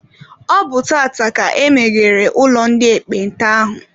Ọ bụ tata ka emeghere ụlọ ndị ekpenta ahụ.